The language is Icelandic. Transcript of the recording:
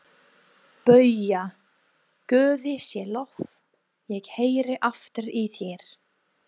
BAUJA: Guði sé lof, ég heyri aftur í þér!